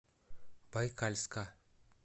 байкальска